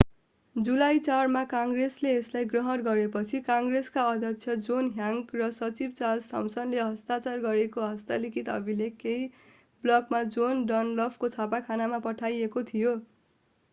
जुलाई 4 मा काङ्ग्रेसले यसलाई ग्रहण गरेपछि काङ्ग्रेसका अध्यक्ष जोन ह्यान्कक र सचिव चार्ल्स थमसनले हस्ताक्षर गरेको हस्तलिखित अभिलेख केही ब्लकमा जोन डनलपको छापाखानामा पठाइएको थियो